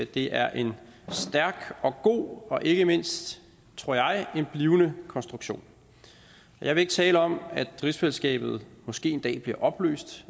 det er en stærk og god og ikke mindst tror jeg en blivende konstruktion jeg vil ikke tale om at rigsfællesskabet måske en dag bliver opløst